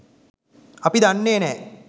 අපි දන්නේ නැහැ.